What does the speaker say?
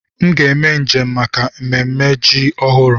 M ga eme njem maka ememme ji ọhụrụ.